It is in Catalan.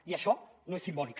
i això no és simbòlic